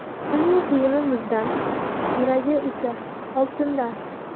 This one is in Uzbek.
Uning kiyimi muzdan, yuragi esa oltindan.